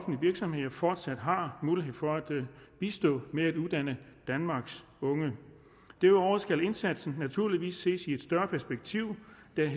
virksomheder fortsat har mulighed for at bistå med at uddanne danmarks unge derudover skal indsatsen naturligvis ses i et større perspektiv der